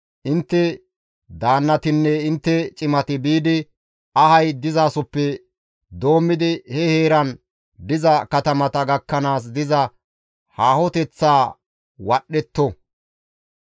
intte daannatinne intte cimati biidi ahazi dizasoppe doommidi he heeran diza katamata gakkanaas diza haahoteththaa wadhdhetto.